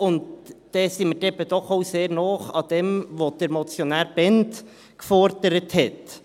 Dann sind wir eben doch auch sehr nah an dem, was Motionär Bhend forderte.